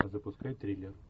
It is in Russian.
запускай триллер